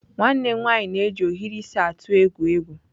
Nwa m nwanyị na-eji ohiri isi atụ egwu egwu.